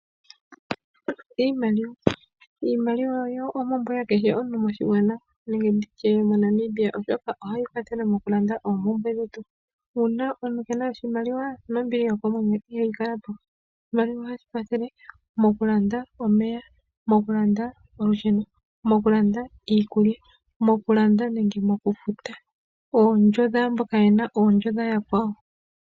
Iimaliwa oyo ompumbwe yakehe omuntu moshigwana nenge ndi tye moNamibia oshoka ohayi kwathele okulanda oompumbwe dhetu. Uuna omuntu ke na oshimaliwa nombili yokomwenyo ihayi kala po. Oshimaliwa ohashi kwathele mokulanda omeya, mokulanda olusheno, mokulanda iikulya, mokulanda nenge mokufuta oondjo dhaamboka ye na oondjo dha yakwawo.